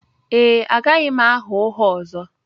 Ee, agaghị m agha ụgha ọzọ